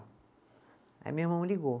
Aí ligou.